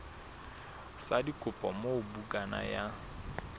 sa dikopo moo bukana ya